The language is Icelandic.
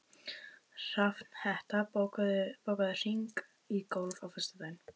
Hrafnhetta, bókaðu hring í golf á föstudaginn.